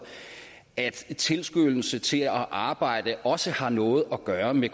at tilskyndelse til at arbejde også har noget at gøre med